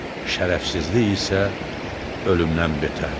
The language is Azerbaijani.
Şərəfsizlik isə ölümdən betərdir.